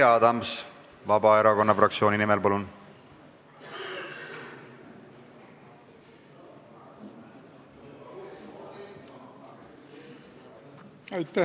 Jüri Adams Vabaerakonna fraktsiooni nimel, palun!